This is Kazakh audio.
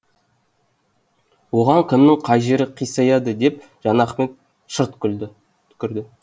оған кімнің қай жері қисаяды деп жанахмет шырт түкірді